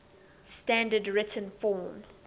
standard written form